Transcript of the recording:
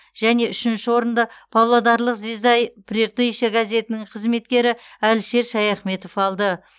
және үшінші орынды павлодарлық звезда и прииртышье газетінің қызметкері әлішер шаяхметов алды